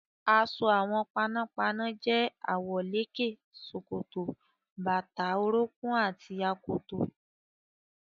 Aṣọ àwọn panápaná jẹ́ àwọ̀lékè, ṣòkòtò, bàtà orúnkún àti akoto.